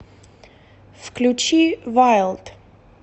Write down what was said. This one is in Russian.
включи вайлд